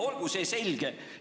Olgu see selge!